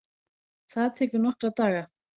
Það tekur nokkra daga.